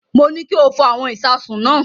Mo ní kí o fọ àwọn ìṣasùn náà.